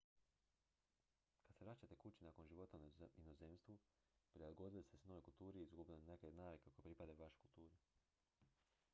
kad se vraćate kući nakon života u inozemstvu prilagodili ste se novoj kulturi i izgubili neke od navika koje pripadaju vašoj kulturi